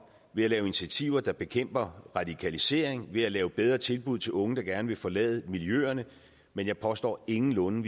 ved at lave initiativer der bekæmper radikalisering ved at lave bedre tilbud til unge der gerne vil forlade miljøerne men jeg påstår ingenlunde